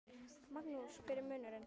Magnús: Hver er munurinn?